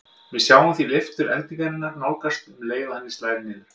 Við sjáum því leiftur eldingarinnar nánast um leið og henni slær niður.